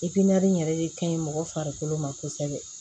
yɛrɛ de ka ɲi mɔgɔ farikolo ma kosɛbɛ